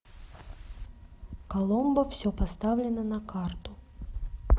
коломбо все поставлено на карту